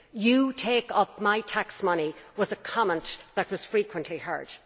You take up my tax money', was a comment that was frequently heard.